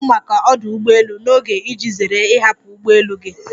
Hapụ maka ọdụ ụgbọ elu n'oge iji zere ịhapụ ụgbọ elu gị!